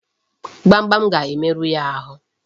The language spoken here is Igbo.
Gbamgbam ga-emerụ ya ahụ.